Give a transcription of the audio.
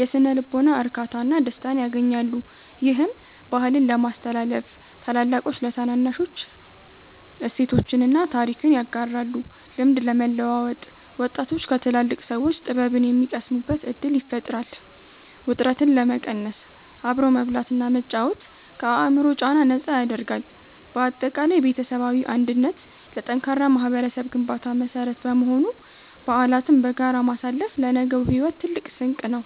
የሥነ-ልቦና እርካታና ደስታን ያገኛሉ። ይህም፦ -ባህልን ለማስተላለፍ፦ ታላላቆች ለታናናሾች እሴቶችንና ታሪክን ያጋራሉ። -ልምድ ለመለዋወጥ፦ ወጣቶች ከትላልቅ ሰዎች ጥበብን የሚቀስሙበት ዕድል ይፈጥራል። -ውጥረትን ለመቀነስ፦ አብሮ መብላትና መጫወት ከአእምሮ ጫና ነፃ ያደርጋል። ባጠቃላይ ቤተሰባዊ አንድነት ለጠንካራ ማኅበረሰብ ግንባታ መሠረት በመሆኑ፣ በዓላትን በጋራ ማሳለፍ ለነገው ሕይወት ትልቅ ስንቅ ነው።